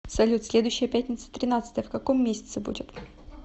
салют следующая пятница тринадцатое в каком месяце будет